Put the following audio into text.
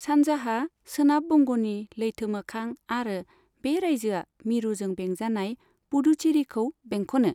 सानजाहा सोनाब बंगनि लैथो मोखां आरो बे रायजोआ मिरुजों बेंजानाय पुडुचेरीखौ बेंखनो।